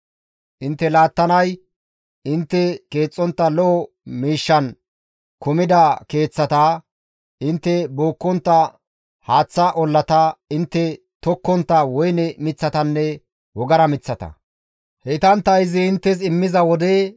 Intte laattanay intte keexxontta lo7o miishshan kumida keeththata, intte bookkontta haaththa ollata, intte tokkontta woyne miththatanne wogara miththata; heytantta izi inttes immiza wode,